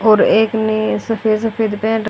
और एक ने सफेद सफेद पेंट --